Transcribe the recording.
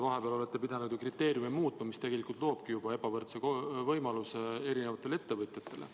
Vahepeal olete te ju pidanud kriteeriume muutma ja see loobki juba ebavõrdsed võimalused erinevatele ettevõtjatele.